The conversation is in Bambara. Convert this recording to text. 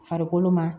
Farikolo ma